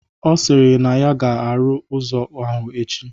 Ọ sịrị na ya ga-arụ ụzọ ahụ echi